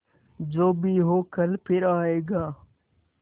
जो भी हो कल फिर आएगा